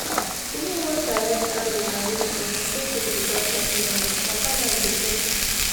you know once i light candle and read small na so peace go just wrap me like wrappermind go settle